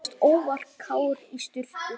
Þú varst óvarkár í sturtu.